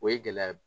O ye gɛlɛya